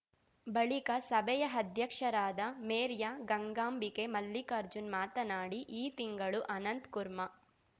ಬಳಿಕ ಸಭೆಯ ಅಧ್ಯಕ್ಷರಾದ ಮೇರ್ಯಾ ಗಂಗಾಂಬಿಕೆ ಮಲ್ಲಿಕಾರ್ಜುನ್‌ ಮಾತನಾಡಿ ಈ ತಿಂಗಳು ಅನಂತ್‌ಕುರ್ಮಾ